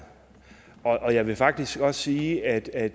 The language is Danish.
og jeg vil faktisk også sige at at